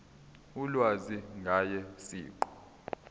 ulwazi ngaye siqu